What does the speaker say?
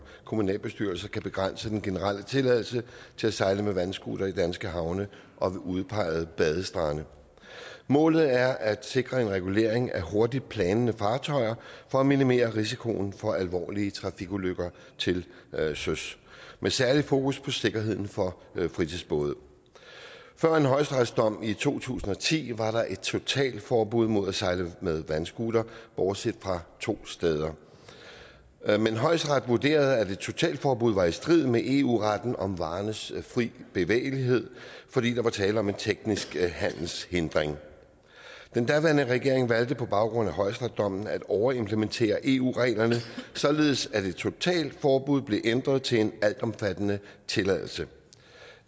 kommunalbestyrelser kan begrænse den generelle tilladelse til at sejle med vandscooter i danske havne og ved udpegede badestrande målet er at sikre en regulering af hurtigplanende fartøjer for at minimere risikoen for alvorlige trafikulykker til søs med særlig fokus på sikkerheden for fritidsbåde før en højesteretsdom i to tusind og ti var der et totalforbud mod at sejle med vandscooter bortset fra to steder men højesteret vurderede at et totalforbud var i strid med eu retten om varernes fri bevægelighed fordi der var tale om en teknisk handelshindring den daværende regering valgte på baggrund af højesteretsdommen at overimplementere eu reglerne således at et totalforbud blev ændret til en altomfattende tilladelse